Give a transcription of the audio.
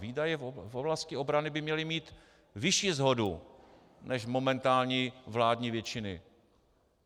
Výdaje v oblasti obrany by měly mít vyšší shodu než momentální vládní většiny.